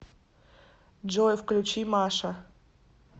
джой включи маша